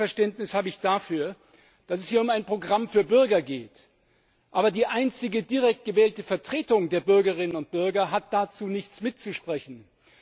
Noch weniger Verständnis habe ich dafür, dass es hier zwar um ein Programm für Bürger geht, aber die einzige direkt gewählte Vertretung der Bürgerinnen und Bürger dabei nichts mitzureden hat.